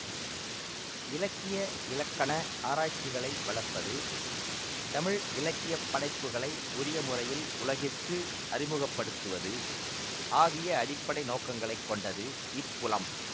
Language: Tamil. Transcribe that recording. இலக்கிய இலக்கண ஆராய்ச்சிகளை வளர்ப்பது தமிழ் இலக்கிய படைப்புகளை உரிய முறையில் உலகிற்கு அறிமுக படுத்துவது ஆகிய அடிப்படை நோக்கங்களைக் கொண்டது இப்புலம்